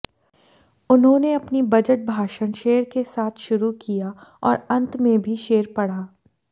उन्होंने अपनी बजट भाषण शेर के साथ शुरू किया और अंत में भी शेर पढ़ा